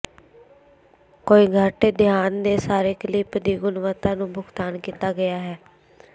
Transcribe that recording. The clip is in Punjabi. ਕੋਈ ਘੱਟ ਧਿਆਨ ਦੇ ਸਾਰੇ ਕਲਿੱਪ ਦੀ ਗੁਣਵੱਤਾ ਨੂੰ ਭੁਗਤਾਨ ਕੀਤਾ ਗਿਆ ਹੈ